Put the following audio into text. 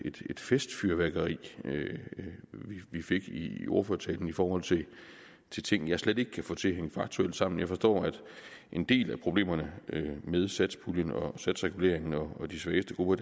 festfyrværkeri vi fik i ordførertalen i forhold til til ting jeg slet ikke kan få til at hænge faktuelt sammen jeg forstår at en del af problemerne med satspuljen og satsreguleringen og de svageste grupper